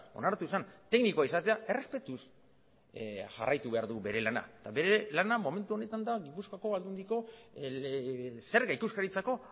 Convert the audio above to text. onartu zen teknikoa izatea errespetuz jarraitu behar du bere lana eta bere lana momentu honetan da gipuzkoako aldundiko zerga ikuskaritzako